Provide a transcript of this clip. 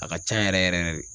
A ka can yɛrɛ yɛrɛ yɛrɛ de.